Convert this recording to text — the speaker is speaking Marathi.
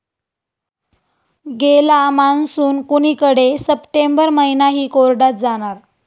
गेला मान्सून कुणीकडे, सप्टेंबर महिनाही कोरडाच जाणार?